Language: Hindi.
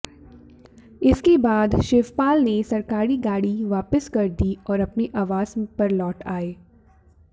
इसके बाद शिवपाल ने सरकारी गाड़ी वापस कर दी और अपने आवास पर लौट आये